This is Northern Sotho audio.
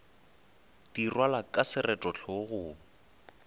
di rwalwa ka seroto hlogong